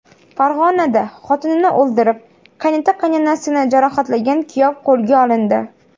Farg‘onada xotinini o‘ldirib, qaynota-qaynonasini jarohatlagan kuyov qo‘lga olindi.